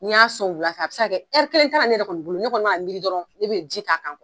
N'i y'a sɔn wula fɛ a bi se ka kɛ kelen t'a ra ne yɛrɛ kɔni bolo, ne kɔni mi ka n miiri dɔrɔn, a be ji k'a kan